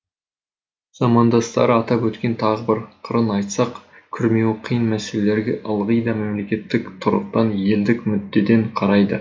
замандастары атап өткен тағы бір қырын айтсақ күрмеуі қиын мәселелерге ылғи да мемлекеттік тұрғыдан елдік мүддеден қарайды